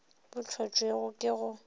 bo hlotšwego ke go se